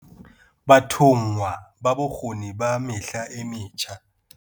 Bathonngwa ba Bokgoni ba Mehla e Metjha.